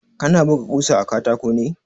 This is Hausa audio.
Kana buga ƙusa a katako ne?